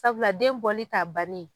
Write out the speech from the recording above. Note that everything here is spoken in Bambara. Sabula den bɔli t'a banni ye.